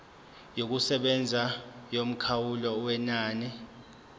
yokusebenza yomkhawulo wenani